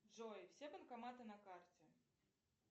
джой все банкоматы на карте